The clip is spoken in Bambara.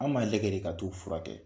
An b'a lagɛ de ka t'u fura kɛ.